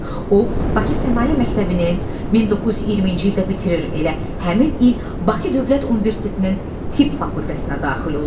O Bakı Sənaye Məktəbinin 1920-ci ildə bitirir, elə həmin il Bakı Dövlət Universitetinin tibb fakültəsinə daxil olur.